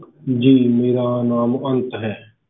ਜੀ ਮੇਰਾ ਨਾਮ ਅੰਤ ਹੈ